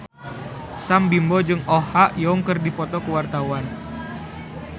Sam Bimbo jeung Oh Ha Young keur dipoto ku wartawan